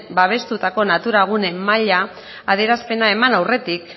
babestutako natura gune maila adierazpena eman aurretik